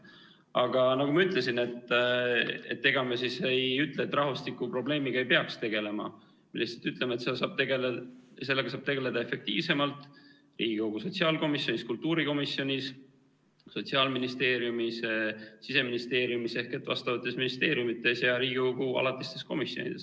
Aga nagu ma ütlesin, et ega me ei ütle, et rahvastikuprobleemiga ei peaks tegelema, me lihtsalt ütleme, et sellega saab tegeleda efektiivsemalt Riigikogu sotsiaalkomisjonis, kultuurikomisjonis, Sotsiaalministeeriumis, Siseministeeriumis ehk vastavates ministeeriumides ja Riigikogu alatistes komisjonides.